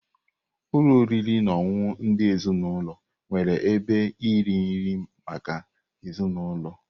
Ụlọ oriri na ọṅụṅụ ndị ezinaụlọ nwere ebe iri nri maka ezinụlọ.